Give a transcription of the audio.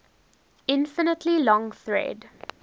infinitely long thread